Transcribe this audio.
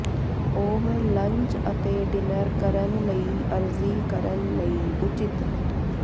ਉਹ ਲੰਚ ਅਤੇ ਡਿਨਰ ਕਰਨ ਲਈ ਅਰਜ਼ੀ ਕਰਨ ਲਈ ਉਚਿਤ